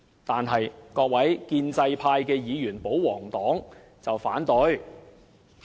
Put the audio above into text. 但是，各位建制派議員，保皇黨卻提出反對。